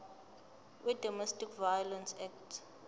wedomestic violence act